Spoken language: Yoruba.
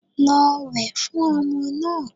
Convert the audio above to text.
Lọ wẹ̀ fún ọmọ náà.